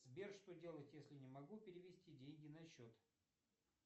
сбер что делать если не могу перевести деньги на счет